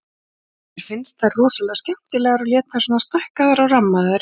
Mér finnst þær rosalega skemmtilegar og lét þess vegna stækka þær og rammaði þær inn.